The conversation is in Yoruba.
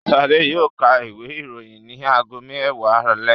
Ṣadé yóò ka ìwé-ìròyìn ní ago mẹ́wàá alẹ́.